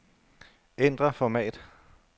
Ændr format.